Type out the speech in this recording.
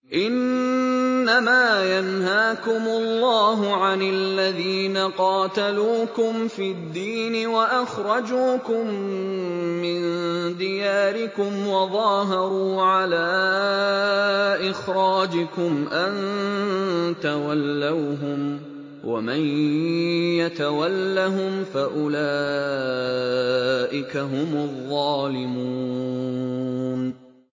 إِنَّمَا يَنْهَاكُمُ اللَّهُ عَنِ الَّذِينَ قَاتَلُوكُمْ فِي الدِّينِ وَأَخْرَجُوكُم مِّن دِيَارِكُمْ وَظَاهَرُوا عَلَىٰ إِخْرَاجِكُمْ أَن تَوَلَّوْهُمْ ۚ وَمَن يَتَوَلَّهُمْ فَأُولَٰئِكَ هُمُ الظَّالِمُونَ